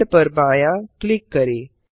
add पर बायाँ click करें